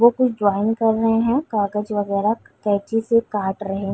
वो कुछ ड्रॉइंग कर रहे हैं कागज वगेरा कैची से काट रहे --